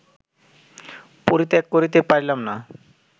পরিত্যাগ করিতে পারিলাম না